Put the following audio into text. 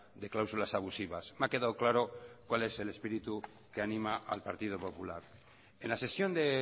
de cláusulas abusivas me ha quedado claro cuál es el espíritu que anima al partido popular en la sesión de